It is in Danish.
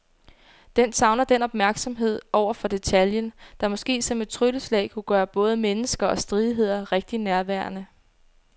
Den savner den opmærksomhed over for detaljen, der måske som et trylleslag kunne gøre både mennesker og stridigheder rigtig nærværende.